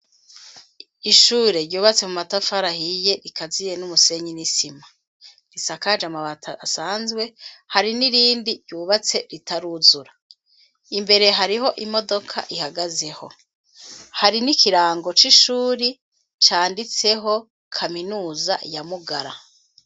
Ishure ryubatse mu matafari ahiye rikaziye n'umusenyi n'isima risakaje amabati asanzwe hari n'irindi ryubatse ritaruzura imbere hariho imodoka ihagazeho hari n'ikirango c'ishuri canditseho kaminuza ya Mugara.